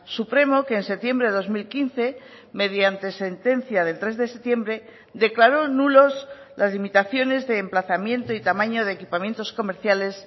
supremo que en septiembre de dos mil quince mediante sentencia del tres de septiembre declaró nulos las limitaciones de emplazamiento y tamaño de equipamientos comerciales